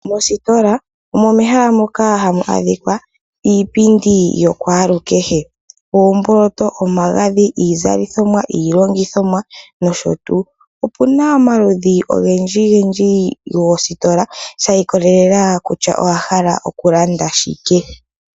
Mositola omo mehala moka hamu adhika iipindi yokwaalukehe oomboloto, omagadhi iizalothomwa iilongothomwa nosho tuu. Opuna omaludhi ogendjigendjigendji goositola osha ikolelela ihe kutya owa hala okulanda shike.